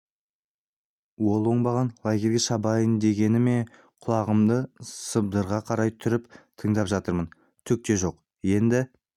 ол оңбаған лагерге шабайын дегені ме құлағымды сыбдырға қарай түріп тыңдап жатырмын түк те жоқ енді